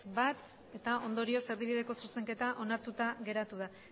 bat ez ondorioz erdibideko zuzenketa onartuta geratu da